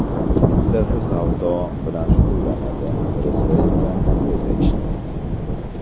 Bittasi savdo bilan shug‘ullanadi, birisi esa kafeda ishlaydi.